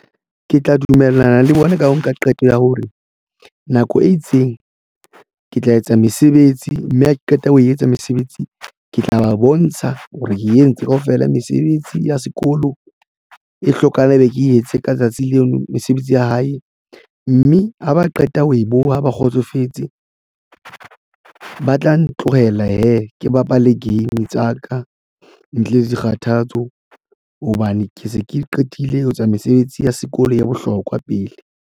Ke tla dumellana le bona ka ho nka qeto ya hore nako e itseng ke tla etsa mesebetsi, mme ha ke qeta ho e etsa mesebetsi ke tla ba bontsha hore ke e entse kaofela mesebetsi ya sekolo e hlokana ebe ke etse ka tsatsi leno mesebetsi ya hae, mme ha ba qeta ho e boha, ba kgotsofetse, ba tla ntlohela hee, ke bapale game tsa ka ntle le dikgathatso hobane ke se ke qetile ho etsa mesebetsi ya sekolo ya bohlokwa pele.